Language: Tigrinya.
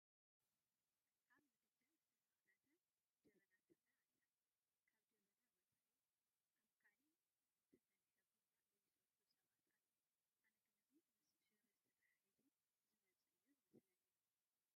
ኣብ ምድጃ ዝተሰኽተተት ጀበና ትርአ ኣላ፡፡ ካብ ጀበና ወፃኢ ኣብ ካልእ ዝተፈልሐ ቡና ዘይሰትዩ ሰባት ኣለዉ፡፡ ኣነ ግን እዚ ምስ ሻህረት ተተሓሒዙ ዝመፅእ እዩ ዝመስለኒ፡፡